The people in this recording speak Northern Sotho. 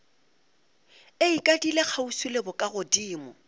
e ikadile kgauswi le bokagodimo